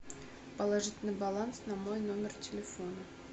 положить на баланс на мой номер телефона